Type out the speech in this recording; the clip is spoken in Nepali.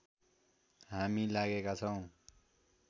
हामी लागेका छौँ